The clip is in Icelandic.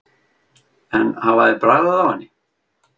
En hafa þeir bragðað á henni?